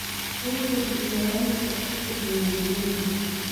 Waxay kordhiyaan waxtarka diiwaangelinta.